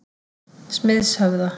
Smiðshöfða